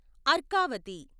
Arkavathi